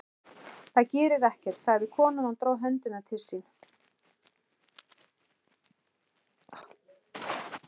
Það gerir ekkert, sagði konan og dró höndina til sín.